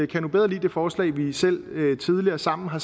jeg nu bedre lide det forslag vi selv tidligere sammen har